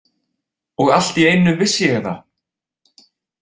Og allt í einu vissi ég það!